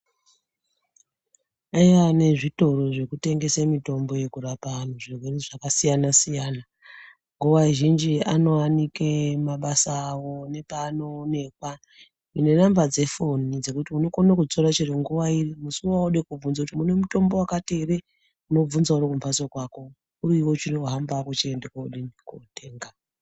Kune zvitoro zvinotengese mutombo yekurape vandu zvakasiyana siyana nguwa zhinjianowanikwe mumabasa awoo nepaanoonekwa nenamba dzefoni dzekuti unokone kufona chero nguwa paunenge wode kubvunza kuti mune mitombo wakati heree unobvunza uri kumbatso kwako unawo wochihambe kodii kundotenga.